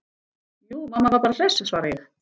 Jú mamma var bara hress, svara ég.